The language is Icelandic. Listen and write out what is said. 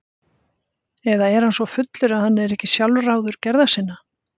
Eða er hann svo fullur að hann er ekki sjálfráður gerða sinna?